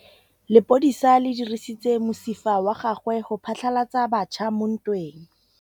Lepodisa le dirisitse mosifa wa gagwe go phatlalatsa batšha mo ntweng.